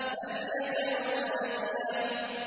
فَلْيَدْعُ نَادِيَهُ